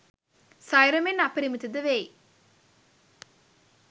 සයුර මෙන් අපරිමිත ද වෙයි.